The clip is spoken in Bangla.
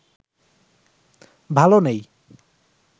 ভালো নেই